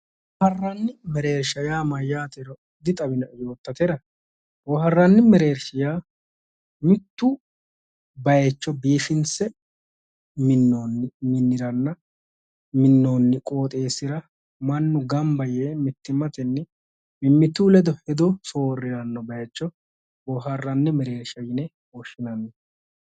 Boohaarranni mereersha yaa mayyaatero dixawinoe yoottatera boohaarranni mereershi yaa mittu baycho biifinse minnoonni miniranna minnoonni qooxeessira mannu gamba yee mittimmatenni mimmitu ledo hedo soorriranno baycho boohaarranni mereersha yine woshshinanni